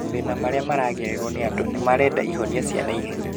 Mathĩna marĩa maragererwo nĩ andũ nĩ marenda ihonia cia naihenya